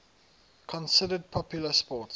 considered popular sports